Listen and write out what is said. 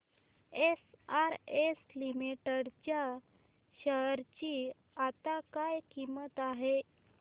SRS limited च्या share ची आता काय किंमत आहे